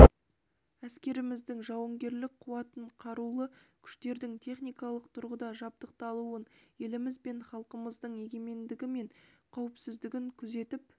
әскеріміздің жауынгерлік қуатын қарулы күштердің техникалық тұрғыда жабдықталуын еліміз бен халқымыздың егемендігі мен қауіпсіздігін күзетіп